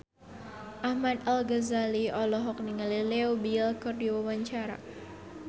Ahmad Al-Ghazali olohok ningali Leo Bill keur diwawancara